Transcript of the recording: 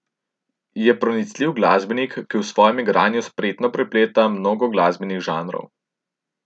Je pronicljiv glasbenik, ki v svojem igranju spretno prepleta mnogo glasbenih žanrov.